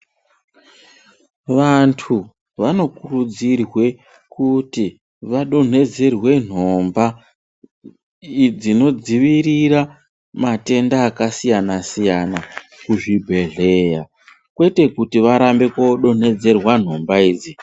Vantu vanokurudzirwe kuti vadonhedzerwe nhomba dzinodzivirira matenda akasiyana siyana kuzvibhedhlera kwete kuti varambe kodonhedzerwa nhomba idzi.